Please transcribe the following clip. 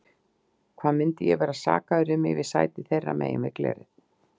Hvað myndi ég vera sakaður um ef ég sæti þeirra megin við glerið?